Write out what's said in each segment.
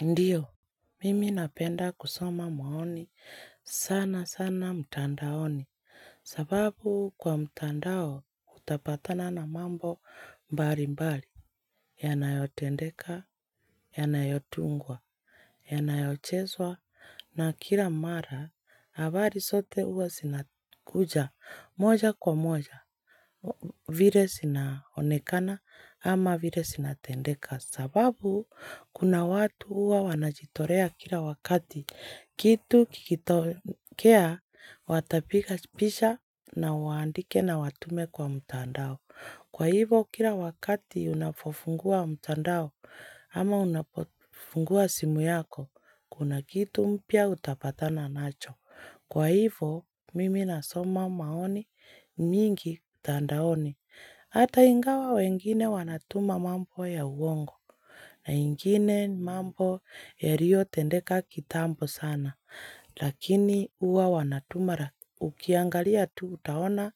Ndiyo, mimi napenda kusoma maoni, sana sana mtandaoni, sababu kwa mtandao utapatana na mambo mbali mbali, yanayotendeka, yanayotungwa, yanayocheswa, na kila mara, habari zote huwa zinakuja moja kwa moja, vile zinaonekana ama vile zinatendeka, sababu, kuna watu huwa wanajitolea kila wakati. Kitu kikitokea, watapiga picha na waandike na watume kwa mtandao. Kwa hivo, kila wakati unapofungua mtandao ama unapofungua simu yako, kuna kitu mpya utapatana nacho. Kwa hivo, mimi na soma maoni mingi mitandaoni. Hata ingawa wengine wanatuma mambo ya uongo na ingine mambo yaliyo tendeka kitambo sana, lakini huwa wanatuma ukiangalia tu utaona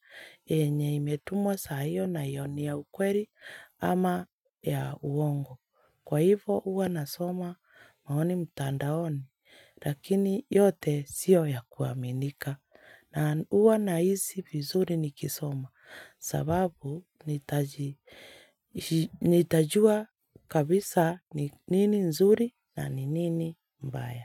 enye imetumwa sahi hiyo na iyo ya ukweli ama ya uongo. Kwa hivo huwa nasoma maoni mtandaoni lakini yote sio ya kuaminika na huwa na hisi vizuri nikisoma sababu nitajua kabisa nini nzuri na nini mbaya.